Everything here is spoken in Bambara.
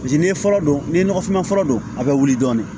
Paseke n'i ye fɔlɔ don ni nɔgɔfinma fɔlɔ don a bɛ wuli dɔɔni